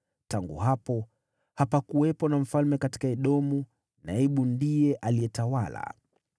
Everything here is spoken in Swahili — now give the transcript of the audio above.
Tangu hapo hapakuwepo na mfalme katika Edomu, naibu ndiye alitawala.